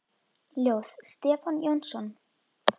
Ljóð: Stefán Jónsson